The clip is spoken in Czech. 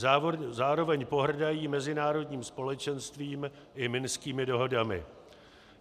Zároveň pohrdají mezinárodním společenstvím i minskými dohodami.